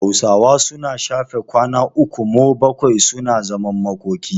Hausawa suna shafe kwana uku mo bakwai suna zaman makoki.